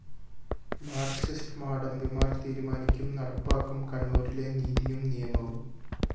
Marxist മാടമ്പിമാര്‍ തീരുമാനിക്കും നടപ്പാക്കും കണ്ണൂരിലെ നീതിയും നിയമവും